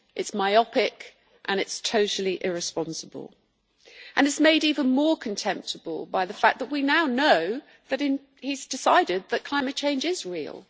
It is myopic and it is totally irresponsible. It is made even more contemptible by the fact that we now know that he has decided that climate change is real.